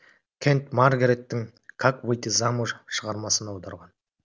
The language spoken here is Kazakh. кент маргареттің как выйти замуж шығармасын аударған